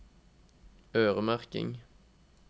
øremerking